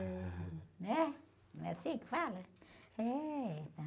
Né? Não é assim que fala? É.